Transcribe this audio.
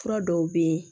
Fura dɔw bɛ yen